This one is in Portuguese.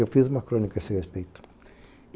Eu fiz uma crônica a esse respeito.